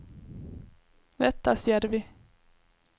Vettasjärvi